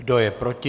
Kdo je proti?